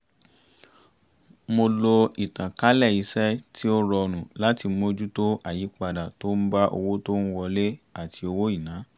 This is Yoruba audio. mo lo ìtànkálẹ̀ iṣẹ́ tí ó rọrùn láti mójútó àyípadà tó ń bá owó tó ń wọlé àti owó ìná